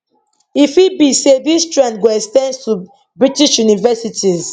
e fit be say dis trend go ex ten ds to british universities